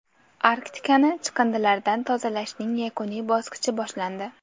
Arktikani chiqindilardan tozalashning yakuniy bosqichi boshlandi.